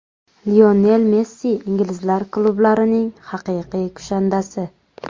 Lionel Messi inglizlar klublarining haqiqiy kushandasi.